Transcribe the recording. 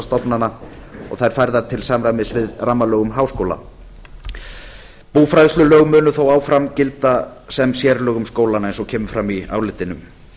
og þær færðar til samræmis við rammalög um háskóla búfræðslulög munu þó áfram gilda sem sérlög um skólana eins og kemur fram í álitinu